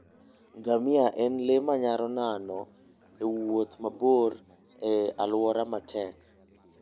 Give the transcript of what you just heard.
Ngamia en le manyalo nano e wuoth mabor e alwora matek.